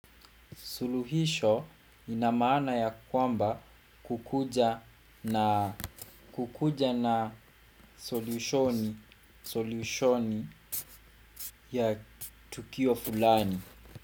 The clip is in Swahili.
Suluhisho inamaana ya kwamba kukuja na solushoni ya tukio fulani.